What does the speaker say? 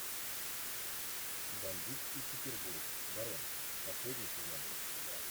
бандитский петербург барон последний сезон